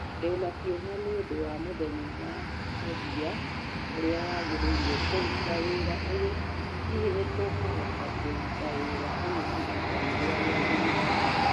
Ndĩ na kĩeha nĩ ũndũ wa mũthenya wa mũthia ũrĩa wagĩrĩire kũruta wĩra ũyũ, hihi nĩ tũkũhota kũrũta wĩra ũyũ ihinda rĩrĩa rĩagĩrĩire?